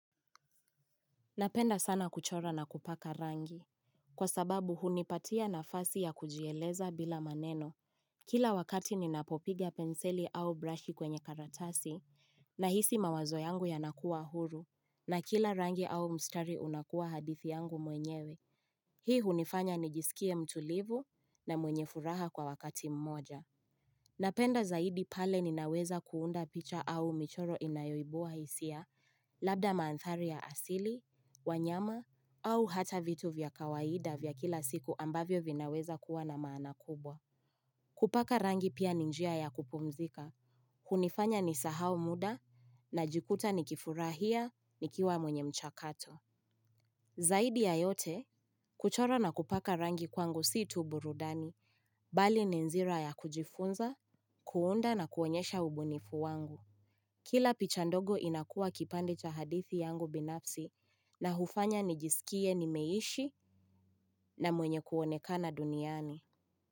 Napenda sana kuchora na kupaka rangi. Kwa sababu hunipatia nafasi ya kujieleza bila maneno. Kila wakati ninapopiga penseli au brashi kwenye karatasi, na hisi mawazo yangu yanakuwa huru, na kila rangi au mstari unakuwa hadithi yangu mwenyewe. Hii hunifanya nijisikie mtulivu na mwenye furaha kwa wakati mmoja. Napenda zaidi pale ninaweza kuunda picha au michoro inayoibua hisia, labda maanthari ya asili, wanyama au hata vitu vya kawaida vya kila siku ambavyo vinaweza kuwa na maana kubwa. Kupaka rangi pia ni njia ya kupumzika, kunifanya ni sahau muda na jikuta ni kifurahia nikiwa mwenye mchakato. Zaidi ya yote, kuchora na kupaka rangi kwangu si tu burudani, bali ninzira ya kujifunza, kuunda na kuonyesha ubunifu wangu. Kila picha ndogo inakua kipande cha hadithi yangu binafsi na hufanya nijisikie nimeishi na mwenye kuonekana duniani.